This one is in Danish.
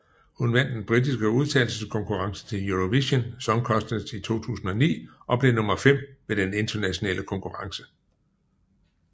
Hun vandt den britiske udtagelseskonkurrence til Eurovision Song Contest 2009 og blev nummer fem ved den internationale konkurrence